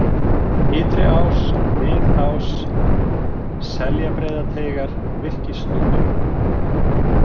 Ytri-Ás, Mið-Ás, Seljabreiðateigar, Virkisþúfa